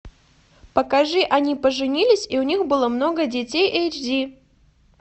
покажи они поженились и у них было много детей эйч ди